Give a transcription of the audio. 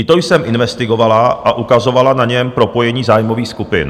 I to jsem investigovala a ukazovala na něm propojení zájmových skupin.